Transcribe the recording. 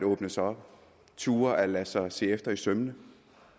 åbne sig op turde lade sig se efter i sømmene